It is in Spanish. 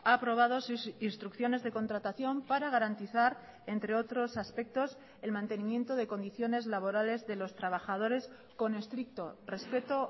ha aprobado sus instrucciones de contratación para garantizar entre otros aspectos el mantenimiento de condiciones laborales de los trabajadores con estricto respeto